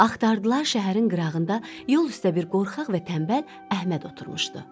Axtardılar şəhərin qırağında yol üstə bir qorxaq və tənbəl Əhməd oturmuşdu.